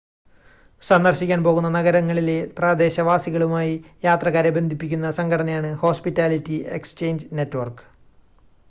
സന്ദർശിക്കാൻ പോകുന്ന നഗരങ്ങളിലെ പ്രദേശവാസികളുമായി യാത്രക്കാരെ ബന്ധിപ്പിക്കുന്ന സംഘടനയാണ് ഹോസ്പിറ്റാലിറ്റി എക്സ്ചേഞ്ച് നെറ്റ്‌വർക്ക്